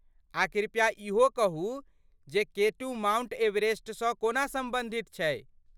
आ कृपया इहो कहू जे केटू माउंट एवरेस्टसँ कोना सम्बन्धित छै?